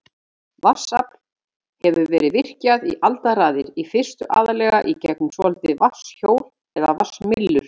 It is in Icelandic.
Vatnsafl hefur verið virkjað í aldaraðir, í fyrstu aðallega í gegnum svokölluð vatnshjól eða vatnsmyllur.